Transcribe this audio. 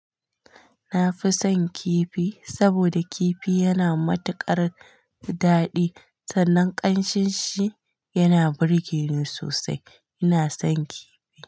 Na fi son kifi saboda kifi yana matuƙar daɗi sannan ƙanshin shi yana burge ni sosai. Ina son kifi.